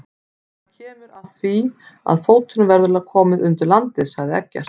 Það kemur að því að fótum verður komið undir landið, sagði Eggert.